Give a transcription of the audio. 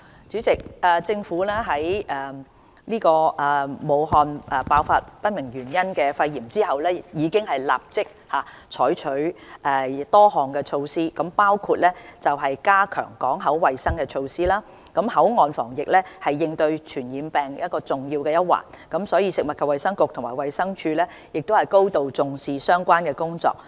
主席，政府在武漢爆發不明原因的肺炎後，已立即採取多項措施，包括：加強港口衞生措施口岸防疫是應對傳染病的重要一環，食物及衞生局和衞生署高度重視相關工作。